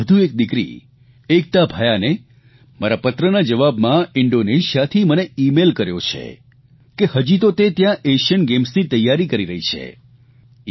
દેશની વધુ એક દિકરી એકતા ભયાને મારા પત્રના જવાબમાં ઇંડોનેશિયાથી મને ઇમેઇલ કર્યો છે કે હજી તો તે ત્યાં એશીયન ગેમ્સની તૈયારી કરી રહી છે